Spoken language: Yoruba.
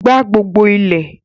gbá gbogbo ilẹ̀!